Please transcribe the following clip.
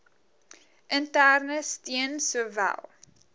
interne steun sowel